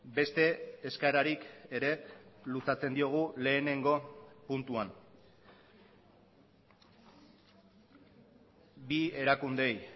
beste eskaerarik ere luzatzen diogu lehenengo puntuan bi erakundeei